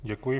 Děkuji.